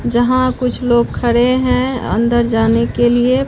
जहां कुछ लोग खड़े हैं अंदर जाने के लिए--